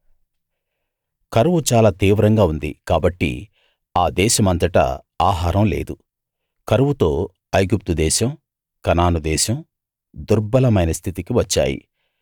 కరువు చాలా తీవ్రంగా ఉంది కాబట్టి ఆ దేశమంతటా ఆహారం లేదు కరువుతో ఐగుప్తు దేశం కనాను దేశం దుర్బలమైన స్థితికి వచ్చాయి